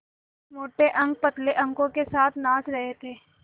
मोटे अंक पतले अंकों के साथ नाच रहे थे